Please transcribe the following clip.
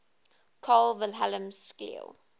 carl wilhelm scheele